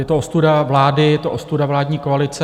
Je to ostuda vlády, je to ostuda vládní koalice.